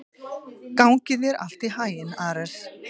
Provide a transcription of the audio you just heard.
Gangi þér allt í haginn, Ares.